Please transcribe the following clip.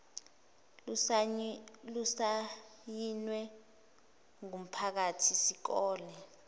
lusayinwe ngumphathi sikole